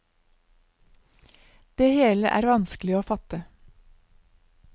Det hele er vanskelig å fatte.